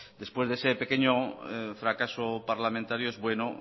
después de ese pequeño fracaso parlamentario es bueno